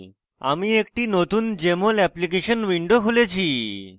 আমি একটি নতুন jmol অ্যাপ্লিকেশন window খুলেছি